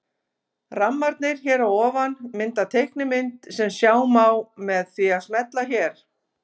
Rammarnir hér að ofan mynda teiknimynd sem sjá má með því að smella hér.